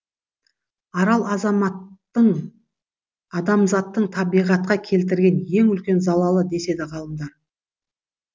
арал адамзаттың табиғатқа келтірген ең үлкен залалы деседі ғалымдар